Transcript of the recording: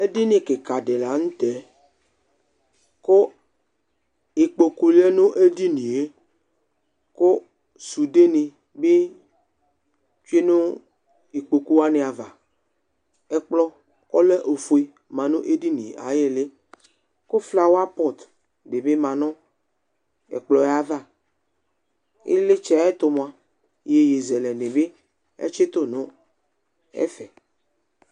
Edini kɩka dɩnɩ la n'tɛkʋnikpoku lɛ nʋ edini yɛ kʋ sudenɩ bɩ tsue nʋ ikpoku wanɩ ava Ɛkplɔ ɔlɛ ofue manʋ edini yɛ ayili kʋ flower pot dɩ bɩ manʋ ɛkplɔ yɛ ayava ɩɣlitsɛ yɛ ayɛtʋ mʋa iyeye zɛlɛnɩ bɩ atsɩtʋ nʋ ɛfɛ